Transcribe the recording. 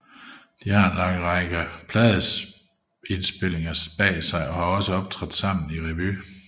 De har en lang række pladeindspilninger bag sig og har også optrådt sammen i revy